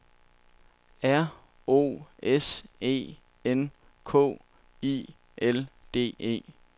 R O S E N K I L D E